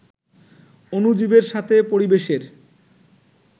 অণুজীবের সাথে পরিবেশের